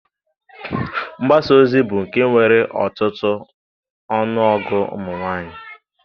Mgbasaozi bụ nke nwere ọtụtụ ọnụọgụ ụmụnwaanyị